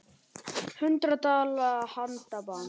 Hundrað dala handaband